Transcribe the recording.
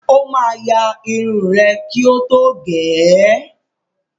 Ó máa ya irun rẹ kí ó tó gẹ̀ ẹ́.